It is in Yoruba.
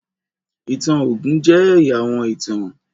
ìtàn ogun jẹ ẹya àwọn ìtàn.